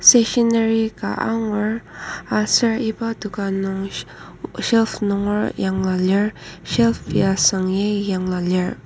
stationery ka angur aser iba dokan nung shelf nunger yanglua lir shelf ya süng agi yanglua lir.